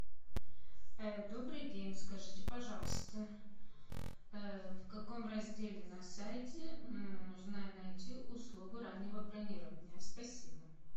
добрый день скажите пожалуйста в каком разделе на сайте можно найти услугу раннего бронирования спасибо